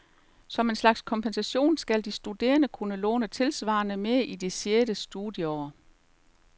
Som en slags kompensation skal de studerende kunne låne tilsvarende mere i det sjette studieår.